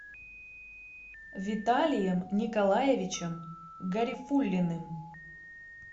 виталием николаевичем гарифуллиным